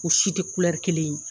U si tɛ kelen ye.